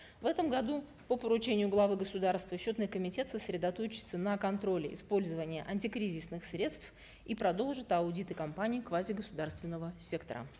в этом году по поручению главы государства счетный комитет сосредоточится на контроле использования антикризисных средств и продолжит аудиты компаний квазигосударственного сектора